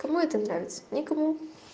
кому это нравится никому